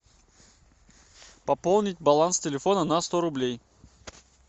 пополнить баланс телефона на сто рублей